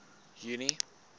junie